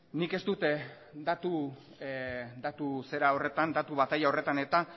nik ez dut datu bataila horretan